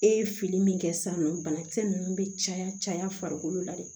E ye fini min kɛ san nɔ bana kisɛ ninnu bɛ caya caya farikolo la de